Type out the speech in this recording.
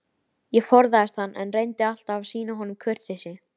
Ég forðaðist hann, en reyndi alltaf að sýna honum kurteisi.